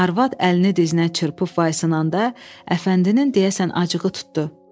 Arvad əlini dizinə çırpıb, vay-sınanda, Əfəndinin deyəsən acığı tutdu.